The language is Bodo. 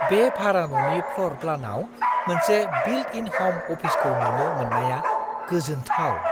बे भारा ननि फ्ल'र प्लानाव मोनसे बिल्ट-इन हम अफिसखौ नुनो मोननाया गोजोनथाव।